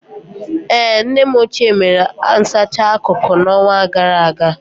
Ee, nne m ochie mere nsacha akụrụ n'ọnwa gara aga.